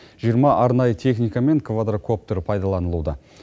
жиырма арнайы техника мен квадракоптер пайдаланылуда